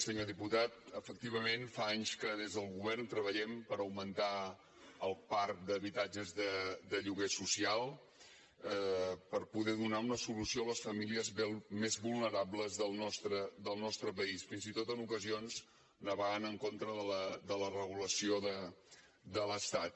senyor diputat efectivament fa anys que des del govern treballem per augmentar el parc d’habitatges de lloguer social per poder donar una solució a les famílies més vulnerables del nostre país fins i tot en ocasions navegant en contra de la regulació de l’estat